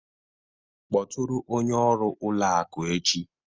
Kpọtụrụ onye ọrụ ụlọ akụ echi